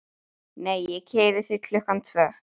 Nei ég keyri þig klukkan tvö.